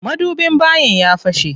Madubin bayin ya fashe.